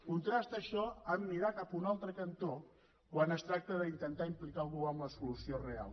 contrasta això amb mirar cap un altre cantó quan es tracta d’intentar implicar algú en la solució real